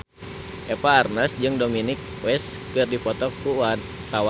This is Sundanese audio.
Eva Arnaz jeung Dominic West keur dipoto ku wartawan